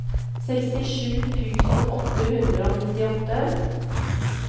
sekstisju tusen åtte hundre og nittiåtte